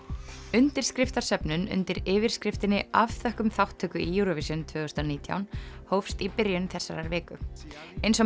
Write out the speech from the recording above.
undirskriftarsöfnun undir yfirskriftinni afþökkum þátttöku í Eurovision tvö þúsund og nítján hófst í byrjun þessarar viku eins og